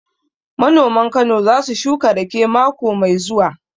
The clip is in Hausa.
Manoman Kano za su shuka raƙe mako mai zuwa